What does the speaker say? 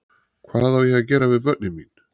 Hvað á ég að gera við börnin mín?